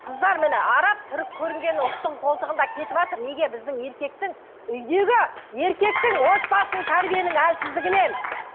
қыздар міне араб түрік көрінген ұлттың қолтығында кетіватыр неге біздің еркектің үйдегі еркектің отбасының тәрбиенің әлсіздігінен